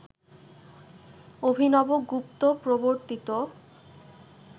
অভিনবগুপ্ত প্রবর্তিত